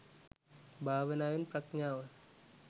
භාවනාවෙන් ප්‍රඥාව